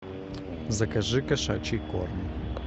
закажи кошачий корм